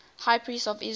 high priests of israel